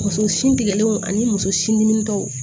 Muso sin tigɛlenw ani muso sin diminenw